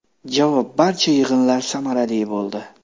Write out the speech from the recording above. Javob: Barcha yig‘inlar samarali bo‘ldi.